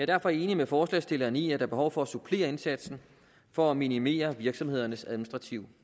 derfor enig med forslagsstilleren i at der er behov for at supplere indsatsen for at minimere virksomhedernes administrative